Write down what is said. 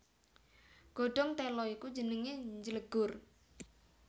Godhong téla iku jenengé jlegur